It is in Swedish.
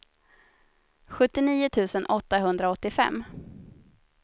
sjuttionio tusen åttahundraåttiofem